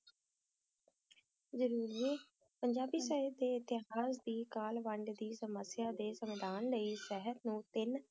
ਹਨ ਗ ਜ਼ਰੋਰ ਪੰਜਾਬੀ ਸਾਈ ਦੇ ਹਰ ਵੇ ਸਮਸਿਆ ਦਾ ਸੰਦਾਂ ਲਾਏ ਸਿਹਤ ਨੋ ਤਾਂ ਬਾਂਗਾਂ ਵਿਚ ਵੰਡੀਆ ਹੈ